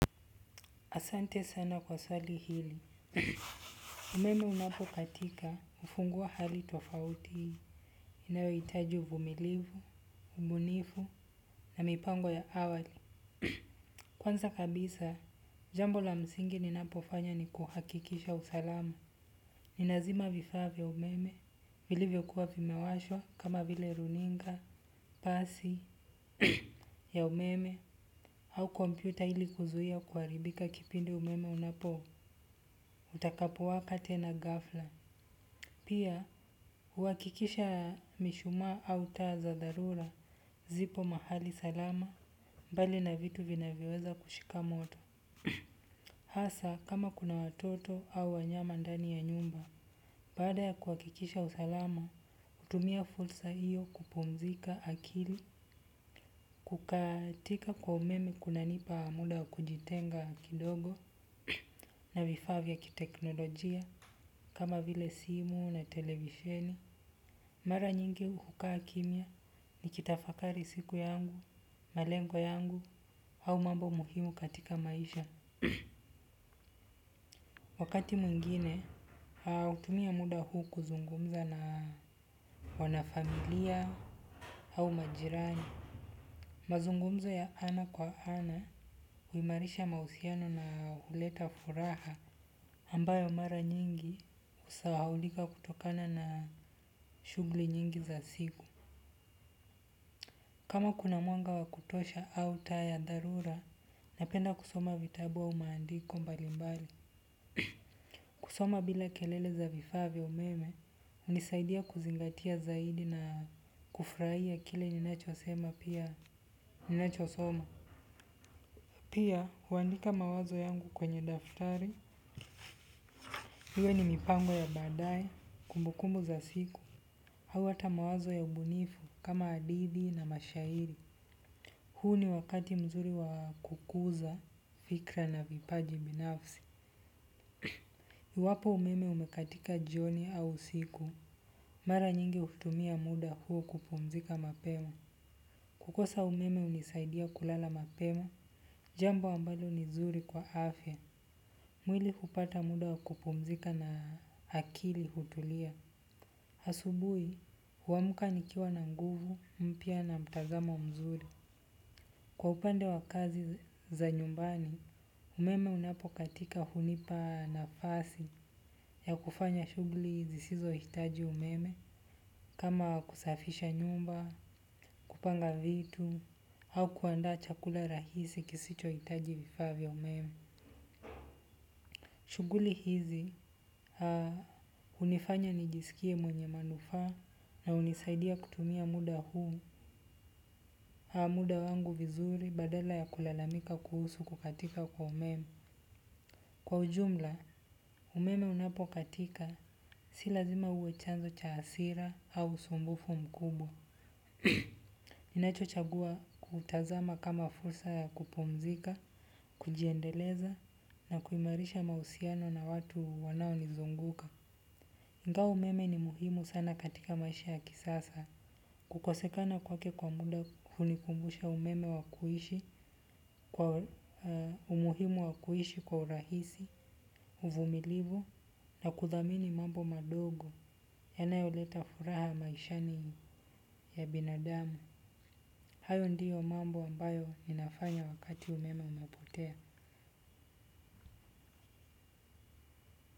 Asante sana kwa swali hili. Meno unapo katika hufungua hali tofauti. Inayo itaji uvumilivu, ubunifu na mipango ya awali. Kwanza kabisa, jambo la msingi ninapofanya ni kuhakikisha usalama. Ninazima vifaa vya umeme, vilivyo kuwa vimewashwa kama vile runinga, paasi ya umeme, au kompyuta ili kuzuhia kuaribika kipindi umeme unapo, utakapo wapa tena ghafla. Pia, huhakikisha mishuma au taa za dharura, zipo mahali salama, mbali na vitu vinaviweza kushika moto. Hasa, kama kuna watoto au wanyama ndani ya nyumba, baada ya kuhakikisha usalama, hutumia fursa hiyo kupumzika akili. Kukatika kwa umeme kunanipa muda wa kujitenga kidogo na vifaa kwa kiteknolojia kama vile simu na televisheni. Mara nyingi hukaa kimya nikitafakari siku yangu, na lengo yangu au mambo muhimu katika maisha. Wakati mwingine, hutumia muda huu kuzungumza na wanafamilia au majirani. Mazungumzo ya ana kwa ana huimarisha mahusiano na huleta furaha ambayo mara nyingi husahulika kutoka na shughuli nyingi za simu. Kama kuna mwanga wakutosha au taa ya dharura, napenda kusoma vitabu au maandiko mbalimbali. Kusoma bila kelele za vifaa vya umeme, hunisaidia kuzingatia zaidi na kufurahia kile ninachosema pia ninachosoma. Pia, huandika mawazo yangu kwenye daftari. Iwe ni mipango ya badae, kumbukumbu za siku. Hawa ata mawazo ya ubunifu, kama hadithi na mashairi. Huu ni wakati mzuri wa kukuza, fikra na vipaji binafsi. Wapo umeme umekatika jioni au siku. Mara nyingi hutumia muda huo kupumzika mapema. Kukosa umeme unisaidia kulala mapema. Jambo ambalo ni zuri kwa afya. Mwili hupata muda wakupumzika na akili hutulia. Asubui, huamka nikiwa na nguvu, mpya na mtazamo mzuri. Kwa upande wa kazi za nyumbani, umeme unapokatika hunipa nafasi ya kufanya shughuli zisizo hitaji umeme. Kama kusafisha nyumba, kupanga vitu, au kuanda chakula rahisi kisicho itaji vifavya umeme. Shughuli hizi, hunifanya nijisikie mwenye manufaa na hunisaidia kutumia muda huu, muda wangu vizuri badala ya kulalamika kuhusu kukatika kwa umeme. Kwa ujumla, umeme unapo katika si lazima uwe chanzo cha asira au usumbufu mkubwa. Ninacho chagua kutazama kama fursa ya kupumzika, kujiendeleza na kuimarisha mahusiano na watu wanao nizunguka. Ingawa umeme ni muhimu sana katika maisha ya kisasa. Kukosekana kwake kwa muda hunikumbusha umeme wakuhishi kwa umuhimu wakuhishi kwa urahisi, uvumilivu na kudhamini mambo madogo yanayoleta furaha maishani ya binadamu. Hayo ndiyo mambo ambayo ninafanya wakati umeme umepotea.